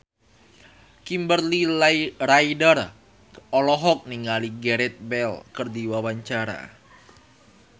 Kimberly Ryder olohok ningali Gareth Bale keur diwawancara